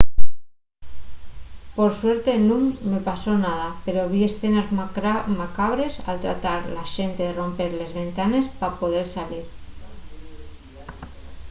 por suerte nun me pasó nada pero vi escenes macabres al tratar la xente de romper les ventanes pa poder salir